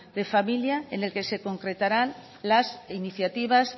de familia en el que se concretarán las iniciativas